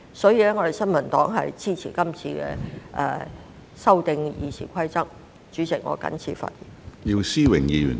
所以，新民黨支持修訂《議事規則》的擬議決議案。